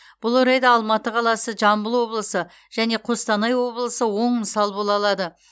бұл орайда алматы қаласы жамбыл облысы және қостанай облысы оң мысал бола алады